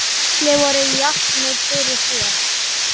Allir voru jafnir fyrir þér.